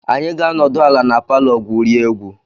Anyị ga-anọdụ ala na palọ gwurie egwu.